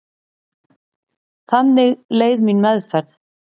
Þannig leið mín meðferð.